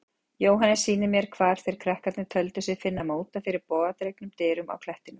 Jóhannes sýnir mér hvar þeir krakkarnir töldu sig finna móta fyrir bogadregnum dyrum á klettinum.